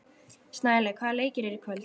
Snælaug, hvaða leikir eru í kvöld?